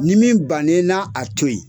Ni min bann'i na a to yen